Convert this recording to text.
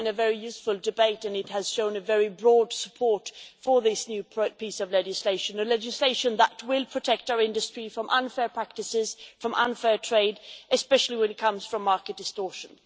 it has been a very useful debate, and it has shown a very broad support for this new piece of legislation a legislation that will protect our industry from unfair practices, from unfair trade, especially when it comes from market distortion.